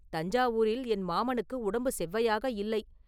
தஞ்சாவூரில் என் மாமனுக்கு உடம்பு செவ்வையாக இல்லை.